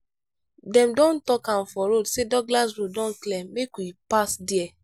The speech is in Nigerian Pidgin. dem don talk am for radio sey douglas road don clear make we pass there.